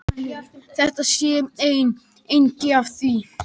Þetta sé einn angi af því